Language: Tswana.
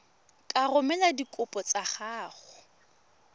ka romela dikopo tsa gago